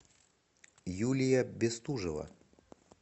юлия бестужева